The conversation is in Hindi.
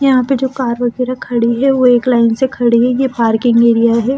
यहां पे जो कार वगैरह खड़े है वो एक लाइन से खड़े हैं ये पार्किंग एरिया है ।